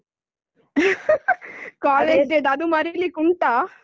College day ದ್ದು ಅದ್ ಮರೀಲಿಕುಂಟಾ?